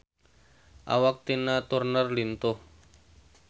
Awak Tina Turner lintuh